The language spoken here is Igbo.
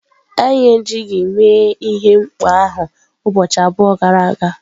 Anyị ejighị mee ihe mkpọ ahụ ụbọchị abụọ gara aga.